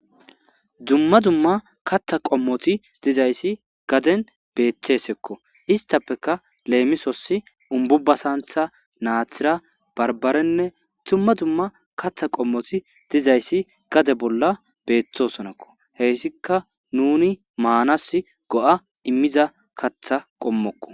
Dumma dumma katha qommoti dizayssi gaden beeththesekko istappeka leemisosi umbubbasantha naathira barbarenne dumma dumma katha qommoti dizayssi gade bolla beeththosonakko heyssika nuni maanas go7a immiza katha qommokko.